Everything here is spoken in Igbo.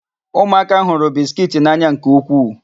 Ụmụaka hụrụ bisikiiti n'anya nke ukwuu.